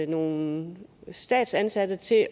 nogle statsansatte til